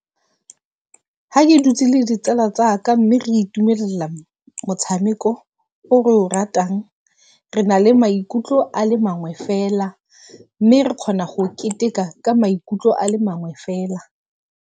Ha ke dutse le ditsala tsaka mme re itumelela motshameko o re o ratang. Re na le maikutlo a le mangwe fela, mme re kgona go keteka ka maikutlo a le magwe fela.